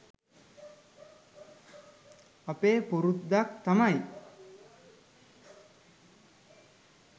අපේ පුරුද්දක් තමයි